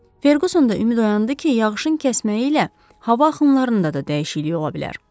Ferquson da ümid oyandı ki, yağışın kəsməyi ilə hava axınlarında da dəyişiklik ola bilər.